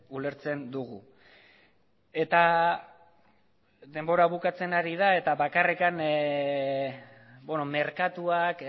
ulertzen dugu eta denbora bukatzen ari da eta bakarrik merkatuak